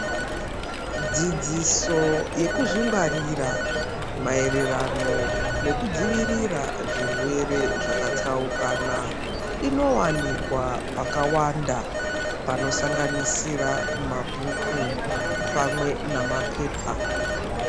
Dzidziso yekuzvingwarira maererano nekudzivirira zvirwere zvakatsaukana, inowanikwa pakawanda panosanganisira mabhuku pamwe namapepa.